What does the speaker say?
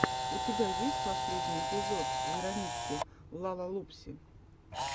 у тебя есть последний эпизод веронички лалалупси